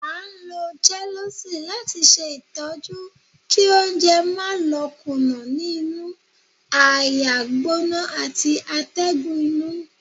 À ń ló Gelusil lati ṣe itọju kí oúnjẹ má lò kùnà ní inú, àáyá gbóná ati atégùn inu.